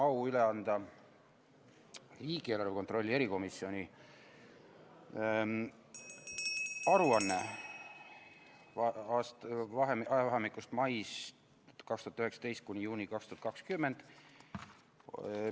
Mul on au üle anda riigieelarve kontrolli erikomisjoni aruanne ajavahemiku mai 2019 kuni juuni 2020 kohta.